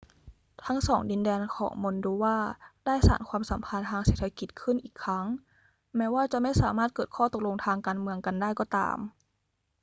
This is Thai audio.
ทั้งสองดินแดนของมอลโดวาได้สานความสัมพันธ์ทางเศรษฐกิจขึ้นอีกครั้ง แม้ว่าจะไม่สามารถเกิดข้อตกลงทางการเมืองกันได้ก็ตาม